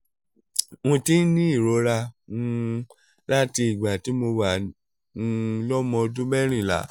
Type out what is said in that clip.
mo ti ń ní ìrora um láti ìgbà tí mo wà um lọ́mọ ọdún mẹ́rìnlá